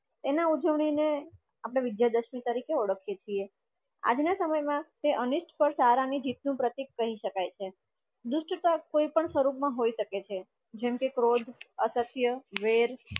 એના ઉજવણી ને અપડે વિજયાદશમી તરીકે ઓડખીએ છેય. આજ ના સમય માં તે અનિસફડ, સારા અને જીત નું પ્રતિક કહી સકાઈ છે. દુડ્સ્થા કોઈ પણ સ્વરૂપ મા હોય સકે છે જેમ કે ક્રોધ, આસક્તિય, વેર